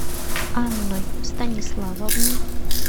анной станиславовной